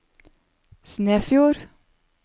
Snefjord